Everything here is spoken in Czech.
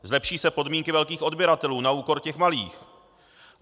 Zlepší se podmínky velkých odběratelů na úkor těch malých.